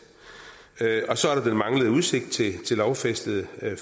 og så er der den manglende udsigt til lovfæstede